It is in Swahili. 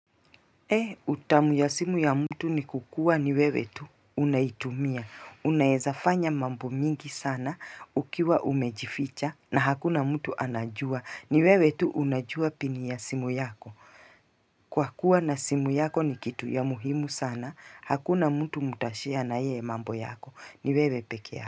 Utamu ya simu ya mtu ni kukuwa ni wewe tu unaitumia unaezafanya mambo mingi sana ukiwa umejificha na hakuna mtu anajua ni wewe tu unajua pini ya simu yako Kwa kuwa na simu yako ni kitu ya muhimu sana hakuna mtu mtashare na yeye mambo yako ni wewe pekee.